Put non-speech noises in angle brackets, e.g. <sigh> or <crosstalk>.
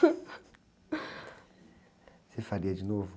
<laughs> Você faria de novo?